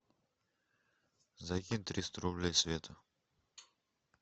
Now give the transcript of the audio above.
закинь триста рублей света